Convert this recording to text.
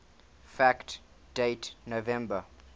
fact date november